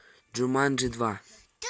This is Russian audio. джуманджи два